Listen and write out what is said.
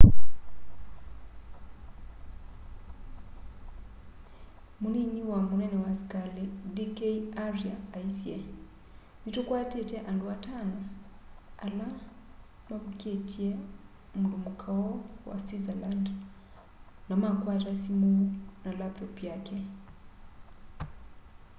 munini wa munene wa askali d k arya aisye ni tũkwatite andu atano ala mavũkitye mundumuka ũu wa switzerland na makwata simu na laptop yake